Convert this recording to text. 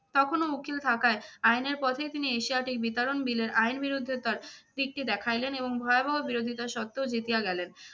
তখনও উকিল থাকায় আইনের পথে তিনি এশিয়াটিক বিতরণ বিলের আইন বিরুদ্ধে তার দিকটি দেখাইলেন এবং ভয়ানক বিরোধিতা সত্ত্বেও জিতিয়া গেলেন।